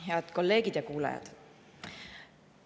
Head kolleegid ja kuulajad!